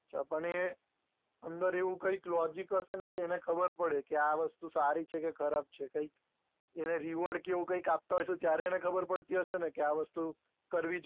તો પણ એ અંદર એવું કંઈક logic હશે ને કે એને ખબર પડે કે આ વસ્તુ સારી છે કે ખરાબ છે કંઈક એને reward કે એવું કંઈક આપતા હશે ત્યારે એને ખબર પડતી હશે ને કે આ વસ્તુ કરવી જ